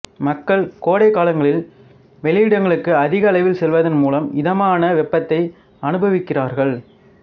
மக்கள் கோடைக்காலங்களில் வெளியிடங்களுக்கு அதிக அளவில் செல்வதன் மூலம் இதமான வெப்பத்தை அனுபவிக்கிறார்கள்